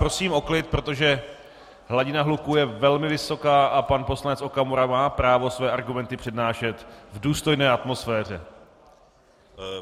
Prosím o klid, protože hladina hluku je velmi vysoká a pan poslanec Okamura má právo své argumenty přednášet v důstojné atmosféře.